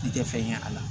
I tɛ fɛn ye a la